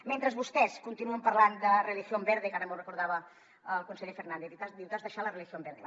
mentre vostès continuen parlant de religión verde que ara m’ho recordava el conseller fernàndez diu t’has deixat la religión verde